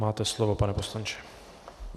Máte slovo, pane poslanče.